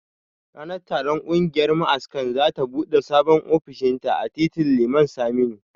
Ranar taron kungiyar ma'askan za ta bude Sabon ofishinta a titin Liman Saminu